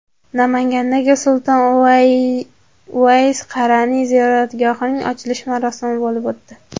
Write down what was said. Namangandagi Sulton Uvays Qaraniy ziyoratgohining ochilish marosimi bo‘lib o‘tdi.